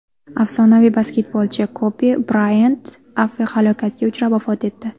Afsonaviy basketbolchi Kobi Brayant aviahalokatga uchrab vafot etdi.